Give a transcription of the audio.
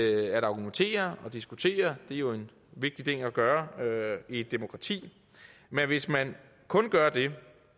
at argumentere og diskutere det er jo en vigtig ting at gøre i et demokrati men hvis man kun gør det